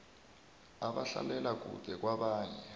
abahlalela kude kwabanye